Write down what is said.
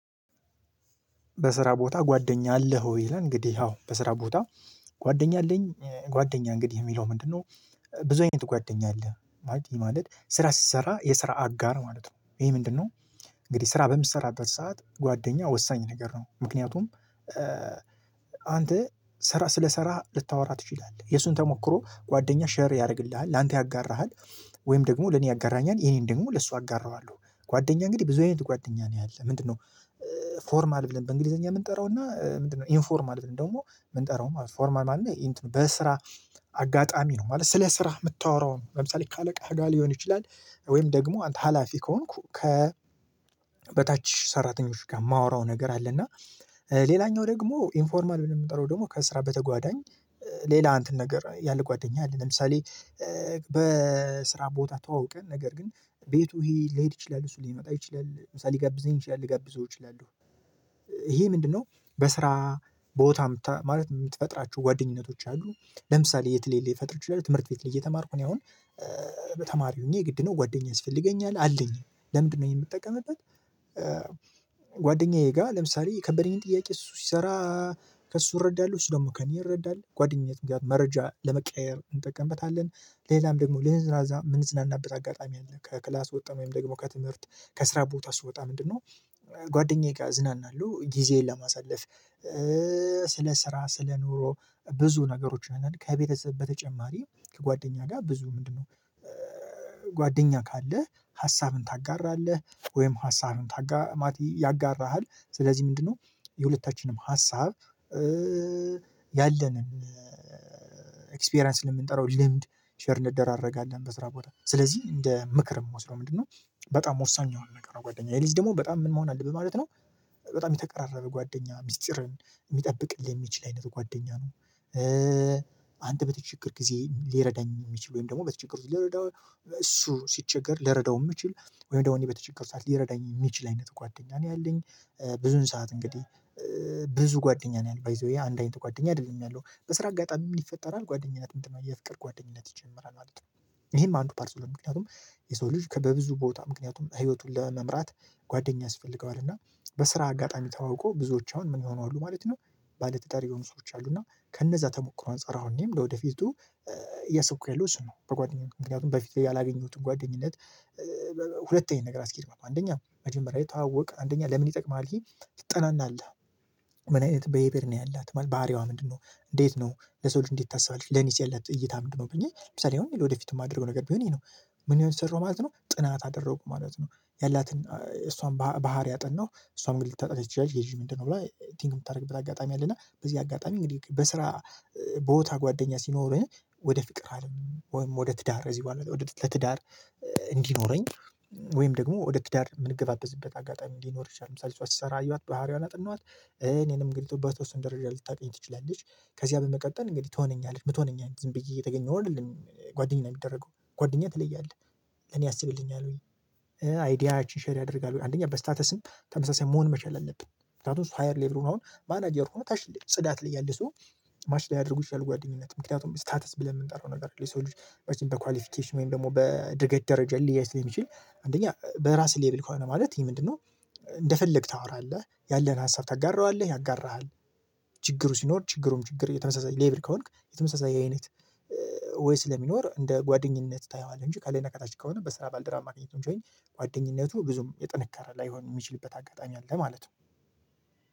በስራ ቦታ ጓደኛ አለህ ወይ? ይላል እንግዲህ አዎ በስራ ቦታ ጓደኛ አለኝ። ጓደኛ እንግዲህ የሚለው ምንድነው? ብዙ አይነት ጓደኛ አለ ማለት ስራ ሲሰራ የስራ አጋር ማለት ነው። ይሄ ምንድን? እንግዲህ ስራ በምትሰራበት ሰዓት ጓደኛ ወሳኝ ነገር ነው። ምክንያቱም አንተ ስለሰራህ ልታወራ ትችላለህ የሱን ተሞክሮ ጓደኛ ሼር ያደርግልሃል ላንተ ያጋራሃል። ወይም ደግሞ ለኔ ያጋራኛል የኔን ደግሞ ለሷ አጋራዋለሁ ጓደኛ እንግዲህ ብዙ አይነት ጓደኛ ነው ያለው ምንድነው? ፎርማ አልብልም በእንግሊዘኛ የምንጠራው እና ምንድነው ኢንፎርም አለን ደግሞ የምንጠራው ማለት ነው። ፎርማን አለ በስራ አጋጣሚ ነው። ማለት ስለ ስራ የምታወራው ለምሳሌ ካለቃህ ሊሆን ይችላል። ወይም ደግሞ አንተ ሀላፊ ከሆንኩ ከ በታች ሰራተኞች ጋር የማወራው ነገር አለ። እና ሌላኛው ደግሞ ኢንፎርማል ብለን የምንጠራው ደግሞ ከስራ በተጓዳኝ ሌላ አንተን ነገር ያለ ጓደኛ አለ። ለምሳሌ በስራ ቦታ ተዋውቀን ነገር ግን ቤቱ ሊሄድ ይችላል እሱ ሊመጣ ይችላል ምሳሌ ሊጋብዘኝ ይችላል ሊጋብዘው ይችላሉ ይሄ ምንድነው? በስራ ቦታ ማለት የምትፈጥራችሁ ጓደኝነቶች አሉ። ለምሳሌ የትሌል የፈጠረችው ትምህርት ቤት ላይ እየተማርኩኝ አሁን በተማሪ ሆኜ ግድ ነው። ጓደኛስ ይፈልገኛል አለኝ ለምንድነው የምጠቀምበት? ጓደኛዬ ጋር ለምሳሌ የከበደኝን ጥያቄ እሱ ሲሰራ ከእሱ እረዳለሁ እሱ ደግሞ ከእኔ እረዳለሁ ጓደኝነት መረጃ ለመቀያየር እንጠቀምበታለን። ሌላም ደግሞ ልንዝናና የምንዝናናበት አጋጣሚ አለ። ከክላስ ወጣ ወይም ደግሞ ከትምህርት ከስራ ቦታ ስወጣ ምንድነው? ጓደኛዬ ጋር ዝናና አሉ ጊዜዬን ለማሳለፍ። ስለ ስራ ስለ ኑሮ ብዙ ነገሮችን ከቤተሰብ በተጨማሪ ከጓደኛ ጋር ብዙ ምንድነው? ጓደኛ ካለህ ሀሳብን ታጋራለህ። ወይም ሀሳብን ታጋማት ያጋራሃል ስለዚህ ምንድነው? የሁለታችንም ሀሳብ ያለንን ኤክስፒሪያንስ ለምንጠራው ልምድ ሼር እንደደራረገ አለን። በስራ ቦታ ስለዚህ እንደ ምክር የምወስደው ምንድነው? በጣም ወሳኝ ያው ነገር ነው ጓደኛዬ ሌይዝ ደግሞ በጣም ምን መሆን አለብን ማለት ነው። በጣም የተቀራረበ ጓደኛ ሚስጥርን የሚጠብቅልን የሚችል አይነት ጓደኛ ነው። አንተ በተቸገር ጊዜ ሊረዳኝ የሚችል ወይም ደግሞ በተቸገሩ ልረዳው እሱ ሲቸገር ልረዳው የምችል ወይም ደግሞ እኔ በተቸገሩ ሰዓት ሊረዳኝ የሚችል አይነት ጓደኛ ነው ያለኝ። ብዙን ሰዓት እንግዲህ ብዙ ጓደኛ ነው ያለው ባይዘዌ አንድ አይነት ጓደኛ አይደለም ያለው በስራ አጋጣሚም ይፈጠራል ጓደኝነት ምንድነው? የፍቅር ጓደኝነት ይጀምራል ማለት ነው። ይሄም አንዱ ፓርሰለም ምክንያቱም የሰው ልጅ በብዙ ቦታ ምክንያቱም ህይወቱን ለመምራት ጓደኛ ያስፈልገዋል። እና በስራ አጋጣሚ ተዋውቆ ብዙዎች አሁን ምን ይሆናሉ ማለት ነው። ባለተጠራየው የሆኑ ሰዎች አሉ እና ከነዛ ተሞክሮ አንፃር አሁን እኔም ወደፊቱ የሰብኩ ያለው እሱ ነው። በጓደኛው ምክንያቱም በፊት ላይ ያላገኙትን ጓደኝነት። ሁለተኛ ነገር አስኪድ ማለት አንደኛ መጀመሪያ የተዋወቀ አንደኛ ለምን? ይጠቅማል ይሄ ይጠናናል። ምን አይነት ብሄበር ነው ያላት ባህሪዋ ምንድነው? እንዴት ነው ለሰው እንዴት ታስባለች ለኒስ የለት እይታ ምንድነው? ብኚህ ለምሳሌ አሁን ወደፊቱ የማደርገው ነገር ቢሆን እኔ ነው። ምን የሆነ ሰራው ማለት ነው። ጥናት አደረኩ ማለት ነው። ያላትን እሷን ባህሪ አጠናሁ እሷን ልታጠቅቅ ይችላል ጌጅ ምንድነው? ብላ ቲንክ የምታደርግበት አጋጣሚ አለና በዚህ አጋጣሚ እንግዲህ በስራ ቦታ ጓደኛ ሲኖርህ። ወደ ፍቅር አለም ወይም ወደ ትዳር እዚህ በኋላ ወደ ትዳር እንዲኖረኝ ወይም ደግሞ ወደ ትዳር የምንገባበዝበት አጋጣሚ እንዲኖር ይችላል። ምሳሌ ሰው ሲሰራ አየኋት ባህሪዋን አጥናኋት እኔንም ገልጦባት እሱን ደረጃ ልታውቀኝ ትችላለች። ከዚያ በመቀጠል እንግዲህ ትሆነኛለች ምትሆነኛለች አንድ ዝም ብዬ እየተገኘሁ ነው የምለው ጓደኛ ነው የሚደረገው ጓደኛ ትለያለህ ለኔ አስብልኛል። ወይ አይዲያችን ሼር ያደርጋል ወይ አንደኛ በስታተስም ተመሳሳይ መሆን መቻል አለብን። ስታቶስ ሀየር ሌቭል ሆኖ አሁን ማናጀር ሆኖ ታች ልደው ጽዳት ላይ ያለህ ሰው። ማች ላይ ያደርጉ ይሻላል ጓደኝነት ምክንያቱም ስታተስ ብለን የምንጠራው ነገር የሰው ልጅ በቃ በኳሊፊኬሽን ወይም ደግሞ በድርገት ደረጃ ሊያይስ ሊሚችል። አንደኛ በራስህ ሌብል ከሆነ ማለት ይሄ ምንድነው? እንደፈለግክ ታወራለህ ያለህን ሀሳብ ታጋረዋለህ ያጋራሃል። ችግሩ ሲኖር ችግሩም ችግር የተመሳሳይ ሌብሪ ከሆንክ የተመሳሳይ አይነት። ወይ ስለሚኖር እንደ ጓደኝነት ታየዋለህ እንጂ ካለነቃታችን ከሆነ በስራ ባልደራ ማግኘቱን ጆይን ጓደኝነቱ ብዙም የጥንካሬ ላይሆን የሚችልበት አጋጣሚ አለ። ማለት ነው